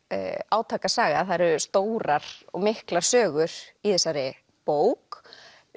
átakasaga það eru stórar og miklar sögur í þessari bók